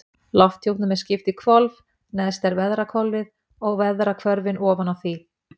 Lofthjúpnum er skipt í hvolf, neðst er veðrahvolfið og veðrahvörfin ofan á því.